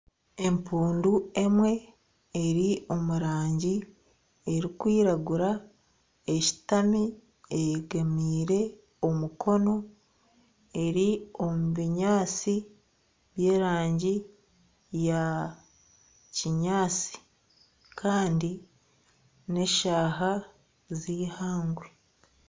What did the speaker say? Empundu emwe eri omu rangi erikwiragura, eshutami eyegamiire omukono eri omu binyansi by'erangi yaakinyatsi kandi n'eshaaha z'eihangwe